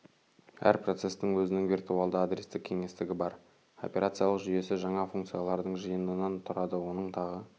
әр процестің өзінің виртуалды адрестік кеңістігі бар операциялық жүйесі жаңа функциялардың жиынынан тұрады оның тағы